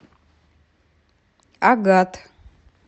агат